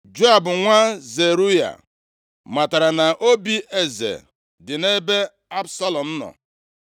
Joab, nwa Zeruaya matara na obi eze dị nʼebe Absalọm nọ.